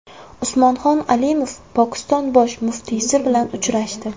Usmonxon Alimov Pokiston bosh muftiysi bilan uchrashdi.